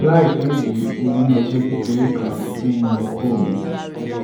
láìpẹ yìí mo ní ọgbẹ kékeré kan nínú okó mi